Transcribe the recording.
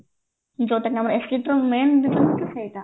ଯୋଉଟା କି ଆମର acidity ର main ହଉଛି ସେଇଟା